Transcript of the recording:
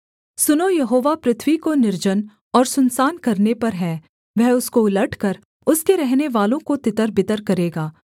सुनों यहोवा पृथ्वी को निर्जन और सुनसान करने पर है वह उसको उलटकर उसके रहनेवालों को तितरबितर करेगा